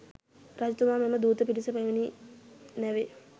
රජතුමා මෙම දූත පිරිස පැමිණි නැවේ